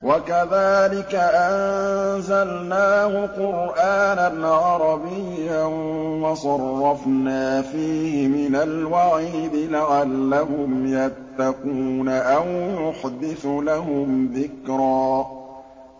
وَكَذَٰلِكَ أَنزَلْنَاهُ قُرْآنًا عَرَبِيًّا وَصَرَّفْنَا فِيهِ مِنَ الْوَعِيدِ لَعَلَّهُمْ يَتَّقُونَ أَوْ يُحْدِثُ لَهُمْ ذِكْرًا